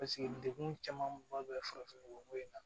degun camanba bɛ farafin nɔgɔ ko in na